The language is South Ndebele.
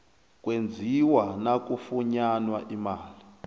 kwenziwa nakufunyanwa imali